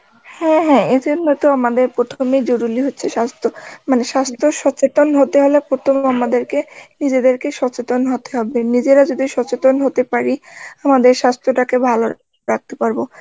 হ্যাঁ হ্যাঁ এইজন্য তো আমাদের প্রথমেই জরুরি হচ্ছে স্বাস্থ্য মানে স্বাস্থ্য সচেতন হতে গেলে প্রথমে আমাদেরকে নিজেদেরকে সচেতন হতে হবে নিজেরা যদি সচেতন হতে পারি আমাদের স্বাস্থ্য টাকে ভালো রাখতে পারব